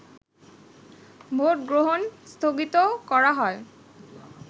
ভোটগ্রহণ স্থগিত করা হয়